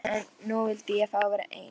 En nú vildi ég fá að vera einn.